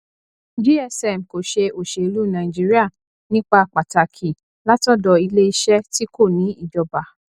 gsm kò ṣe òṣèlú nàìjíríà nípa pàtàkì látọdọ iléeṣẹ tí kò ní ìjọba